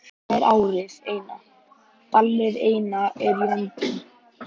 Þetta er árið eina, ballið eina er í vændum.